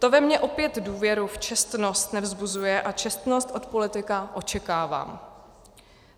To ve mně opět důvěru v čestnost nevzbuzuje, a čestnost od politika očekávám.